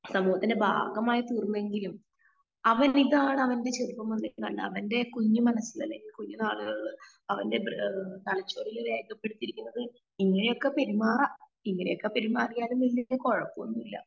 സമൂഹത്തിന്റെ ഭാഗമായി തീർന്നെങ്കിലും അവൻ ഇതാണ് അവന്റെ ചെറുപ്പം മുതൽ തന്റെ കുഞ്ഞു മനസ്സിലെ കുഞ്ഞു നാളുകളിൽ അവന്റെ ഏഹ് തലച്ചോറിൽ രേഖപ്പെടുത്തിയിരിക്കുന്നത് ഇങ്ങനെ ഒക്കെ പെരുമാറാഇങ്ങനെ ഒക്കെ പെരുമാറിയാലും വല്യേ കുഴപ്പന്നുല്ല